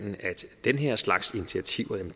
den her slags initiativer